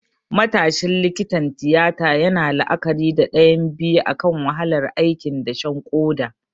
Matashin likitan tiyata yana la'akari da ɗayan biyu akan wahalar aikin dashen koda.